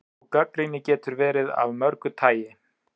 Sú gagnrýni getur verið af mörgu tagi.